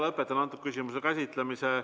Lõpetan selle küsimuse käsitlemise.